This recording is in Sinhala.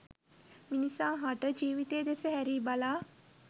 මිනිසා හට ජීවිතය දෙස හැරී බලා